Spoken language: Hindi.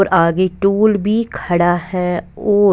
आगे टूल भी खड़ा है ओर--